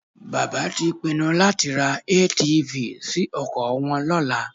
Bàbá tí pinnu láti ra ATV sí oko wọn lọ́la